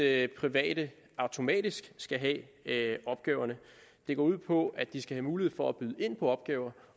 at private automatisk skal have have opgaverne det går ud på at de skal have mulighed for at byde ind på opgaver